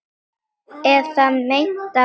Eða meintan arf.